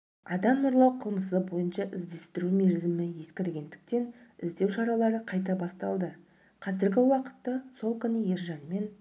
адам ұрлау қылмысы бойынша іздестіру мерзімі ескіргендіктен іздеу шаралары қайта басталды қазіргі уақытта сол күні ержанмен